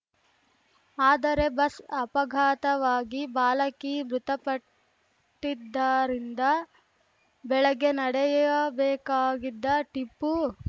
ಆದರೆ ಬಸ್‌ ಅಪಘಾತವಾಗಿ ಬಾಲಕಿ ಮೃತಪಟ್ಟಿದ್ದರಿಂದ ಬೆಳಗ್ಗೆ ನಡೆಯಬೇಕಾಗಿದ್ದ ಟಿಪ್ಪು